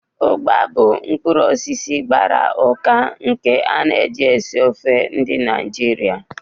Ugba bụ mkpuru osisi egusi gbara ụka nke a na-eji esi ofe ndi Naijiria.